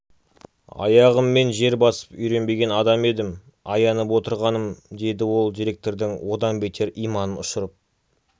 аяғыммен жер басып үйренбеген адам едім аянып отырғаным деді ол директордың одан бетер иманын ұшырып